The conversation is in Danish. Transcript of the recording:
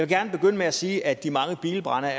gerne begynde med at sige at de mange bilbrande